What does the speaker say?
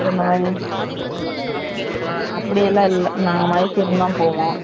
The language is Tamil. அப்டி எல்லாம் இல்ல நாங்க Mysore தான் போவோம்